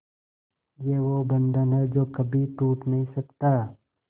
ये वो बंधन है जो कभी टूट नही सकता